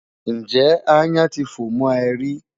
Ǹjẹ́ aáyán ti fò mọ́ ẹ rí?